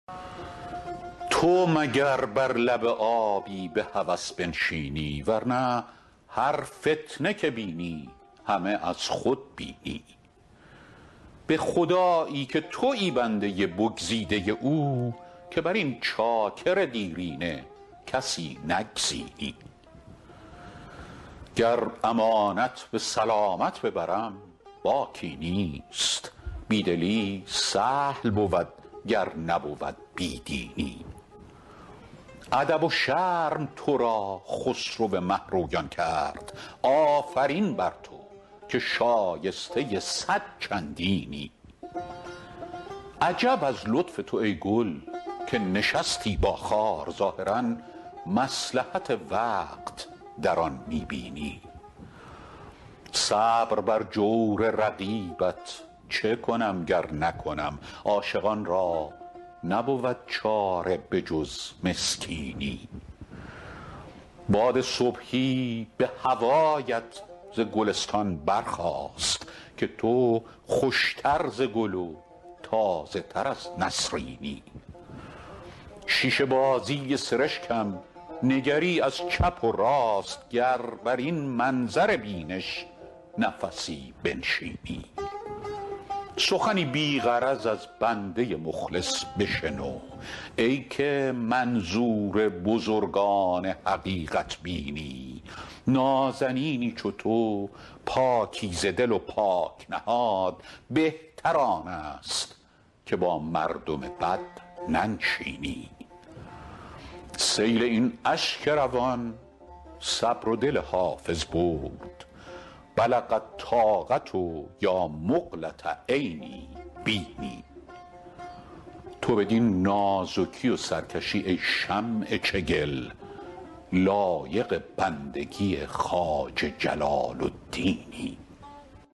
تو مگر بر لب آبی به هوس بنشینی ور نه هر فتنه که بینی همه از خود بینی به خدایی که تویی بنده بگزیده او که بر این چاکر دیرینه کسی نگزینی گر امانت به سلامت ببرم باکی نیست بی دلی سهل بود گر نبود بی دینی ادب و شرم تو را خسرو مه رویان کرد آفرین بر تو که شایسته صد چندینی عجب از لطف تو ای گل که نشستی با خار ظاهرا مصلحت وقت در آن می بینی صبر بر جور رقیبت چه کنم گر نکنم عاشقان را نبود چاره به جز مسکینی باد صبحی به هوایت ز گلستان برخاست که تو خوش تر ز گل و تازه تر از نسرینی شیشه بازی سرشکم نگری از چپ و راست گر بر این منظر بینش نفسی بنشینی سخنی بی غرض از بنده مخلص بشنو ای که منظور بزرگان حقیقت بینی نازنینی چو تو پاکیزه دل و پاک نهاد بهتر آن است که با مردم بد ننشینی سیل این اشک روان صبر و دل حافظ برد بلغ الطاقة یا مقلة عینی بیني تو بدین نازکی و سرکشی ای شمع چگل لایق بندگی خواجه جلال الدینی